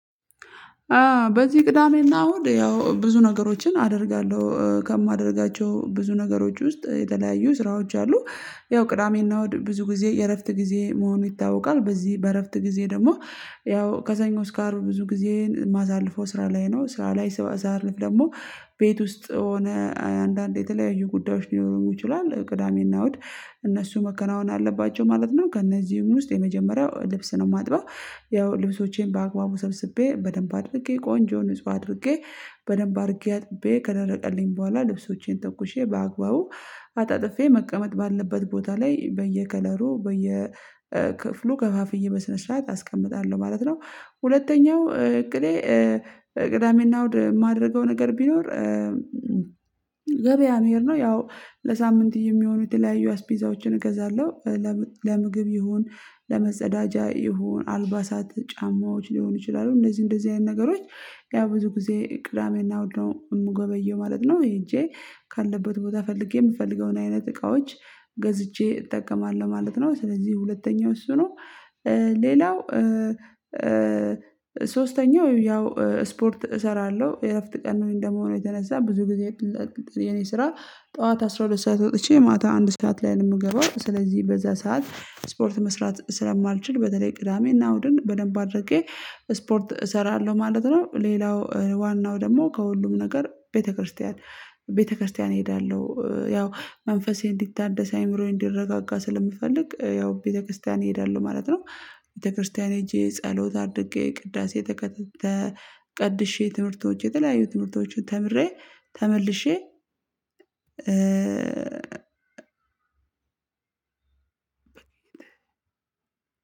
በዚህ ቅዳሜና እሁድ ያው ብዙ ነገሮችን አደርጋለሁ ከማደርጋቸው ብዙ ነገሮች ውስጥ የተለያዩ ስራዎች አሉ ያው ቅዳሜና እሁድ ብዙ ጊዜ የእረፍት ጊዜ መሆኑ ይታወቃል በዚህ በእረፍት ጊዜ ደግሞ ያው ከሰኞ እስከ አርብ ብዙ ጊዜዬን የማሳለፈው ስራ ላይ ነው ስራ ላይ ስራ ሳሳልፍ ደግሞ ቤት ውስጥ ሆነ አንዳንዴ የተለያዩ ጉዳዮች ሊኖሩ ይችላሉ ቅዳሜና እሁድ እነሱ መከናወን አለባቸው ማለት ነው። ከእነዚህም ውስጥ የመጀመሪያው ልብስ ነው ማጥበው ያው ልብሶቼን በአግባቡ ሰብስቤ በደንብ አድርጌ ቆንጆ ንጹህ አድርጌ በደንብ አድርጌ አጥቤ ከደረቀልኝ በኋላ ልብሶቼን ተኩሼ በአግባቡ አጣጥፌ መቀመጥ ባለበት ቦታ ላይ በየከለሩ በየክፍሉ ከፋፍዬ በስነ ስርዓት አስቀምጣለሁ ማለት ነው። ሁለተኛው እቅዴ ቅዳሜና እሁድ የማደርገው ነገር ቢኖር ገበያ መሄድ ነው። ያው ለሳምንት የሚሆኑ የተለያዩ አስፔዛዎችን እገዛለሁ ለምግብ ይሁን ለመጸዳጃ ይሁን አልባሳት ጫማዎች ሊሆኑ ይችላሉ እነዚህ እንደዚህ አይነት ነገሮች ያ ብዙ ጊዜ ቅዳሜና እሁድ ነው የምገበየው ማለት ነው። ሄጄ ካለበት ቦታ ፈልጌ የምፈልገውን አይነት እቃዎች ገዝቼ እጠቀማለሁ ማለት ነው። ስለዚህ ሁለተኛው እሱ ነው። ሌላው ሶስተኛው ያው ስፖርት እሰራለሁ የእረፍት ቀን ነው እንደመሆኑ የተነሳ ብዙ ጊዜ የኔ ስራ ጠዋት አስራ ሁለት ሰዓት ወጥቼ ማታ አንድ ሰዓት ላይ ነው የምገባው ስለዚህ በዛ ሰዓት ስፖርት መስራት ስለማልችል በተለይ ቅዳሜና እሁድን በደንብ አድርጌ ስፖርት እሰራለሁ ማለት ነው። ሌላው ዋናው ደግሞ ከሁሉም ነገር ቤተክርስቲያን ቤተክርስቲያን እሄዳለሁ ያው መንፈሴ እንዲታደስ አእምሮዬን እንዲረጋጋ ስለምፈልግ ያው ቤተክርስቲያን እሄዳለሁ ማለት ነው። ቤተክርስቲያን ሄጄ ጸሎት አድርጌ ቅዳሴ ተቀድሼ ትምህርቶች የተለያዩ ትምህርቶች ተምሬ። ተመልሼ